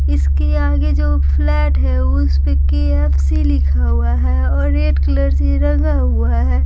इसके आगे जो फ्लैट है उस पे के_एफ_सी लिखा हुआ है और रेड कलर से लगा हुआ है।